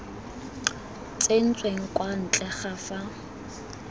tsentsweng kwa ntle ga fa